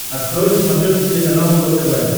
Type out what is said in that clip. открой на смотрешке телеканал его тв